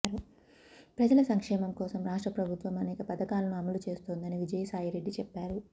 ప్రజల సంక్షేమం కోసం రాష్ట్ర ప్రభుత్వం అనేక పథకాలను అమలు చేస్తోందని విజయసాయిరెడ్డి చెప్పారు